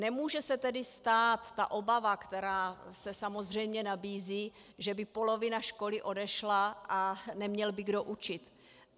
Nemůže se tedy stát ta obava, která se samozřejmě nabízí, že by polovina školy odešla a neměl by kdo učit.